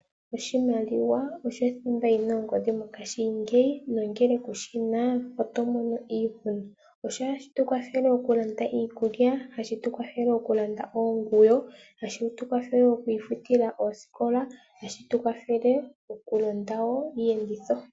Oshiwanawa osho thimba yi na ongodhi mongaashingeyi nongele kushi na, oto mono iihuna. Ohashi tukwathele oku landa iikulya, ohashi tu kwathele oku landa oonguyo, ohashi tu kwathele wo okwiifutila oosikola nohashi tu kwathele wo oku landa iiyenditho.